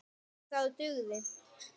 OG ÞAÐ DUGÐI.